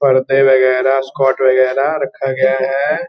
परदे वगैरा स्कर्ट वगैरा रखा गया है।